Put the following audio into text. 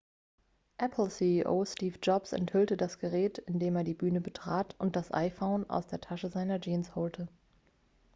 apple-ceo steve jobs enthüllte das gerät indem er die bühne betrat und das iphone aus der tasche seiner jeans holte